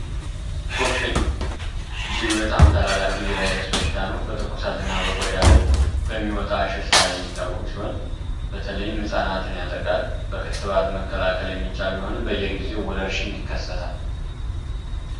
ኩፍኝ እጅግ በጣም አስከፊ የቫይረስ በሽታ ነው። በቆዳ ላይ በሚወጣ ሽፍታ የሚታወቅ ሲሆን በተለይም ህጻናትን ያጠቃል። በክትባት መከላከል የሚቻል ቢሆንም በየጊዜው ወረርሺኝ ይከሰታል።